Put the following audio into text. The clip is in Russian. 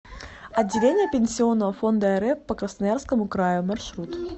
отделение пенсионного фонда рф по красноярскому краю маршрут